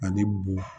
Ani bo